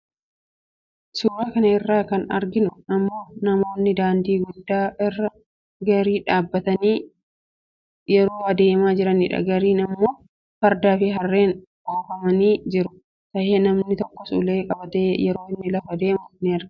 Suura kana irraa kan arginu immoo namoonni daandii guddaa irraa gaarii yaabbatanii yeroo deemaa jiranidha. Gaariin kun immoo fardaa fi harreeen kan oofamaa jiru tahe namni tokkos ulee qabatee yeroo inni lafa deemu in arginaani.